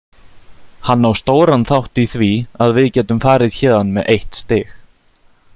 Hann á stóran þátt í því að við getum farið héðan með eitt stig.